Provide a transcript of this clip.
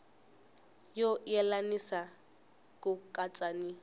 no yelanisa ku katsa ni